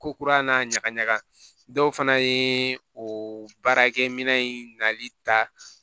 Ko kura n'a ɲagaɲaga dɔw fana ye o baarakɛminɛn in nali ta